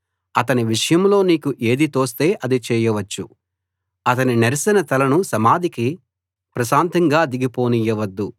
అతని విషయంలో నీకు ఏది తోస్తే అది చేయవచ్చు అతని నెరసిన తలను సమాధికి ప్రశాంతంగా దిగిపోనియ్యవద్దు